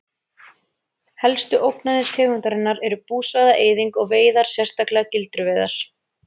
Helstu ógnanir tegundarinnar er búsvæða-eyðing og veiðar sérstaklega gildruveiðar.